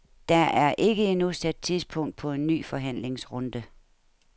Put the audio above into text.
Der er ikke endnu sat tidspunkt på en ny forhandlingsrunde.